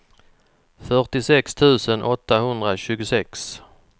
fyrtiosex tusen åttahundratjugosex